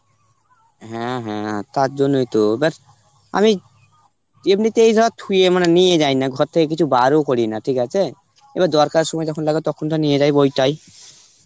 হ্যাঁ হ্যাঁ তার জন্যই তো. এবার আমি এমনিতেই যা থুয়ে মানে নিয়ে যাই না ঘর থেকে কিছু বার ও করিনা, ঠিক আছে? তবে দরকারের সময় যখন লাগে তখন তো নিয়ে যাই ওইটাই,